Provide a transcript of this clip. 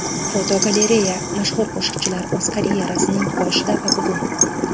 Fotogalereya: Mashhur qo‘shiqchilar o‘z karyerasining boshida va bugun.